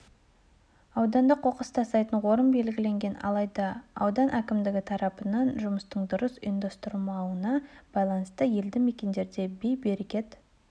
ауданда қоқыс тастайтын орын белгіленген алайда аудан әкімдігі тарапынан жұмыстың дұрыс ұйымдастырылмауына байланысты елді мекендерде бей-берекет